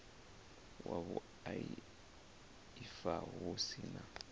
wa vhuaifa hu si na